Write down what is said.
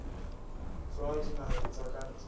tswa dinaheng tsa ka ntle